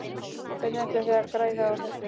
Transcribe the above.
Hvernig ætlið þið að græða á þessu?